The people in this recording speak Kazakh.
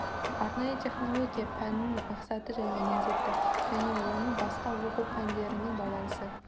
арнайы технология пәнінің мақсаты және міндеті және оның басқа оқу пәндерімен байланысы